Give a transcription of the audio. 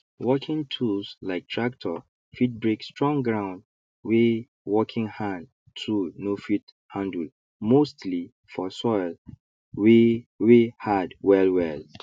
working tools like tractor fit break strong ground wey working hand tool no fit handle mostly for soil wey wey hard wellwell